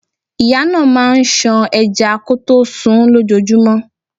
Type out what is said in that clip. Ìyá náà máà ń ṣan ẹja kọtó sunún lójojúmọ́.